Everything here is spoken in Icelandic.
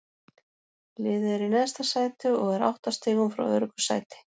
Liðið er í neðsta sæti og er átta stigum frá öruggu sæti.